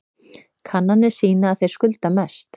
Kannanir sýna að þeir skulda mest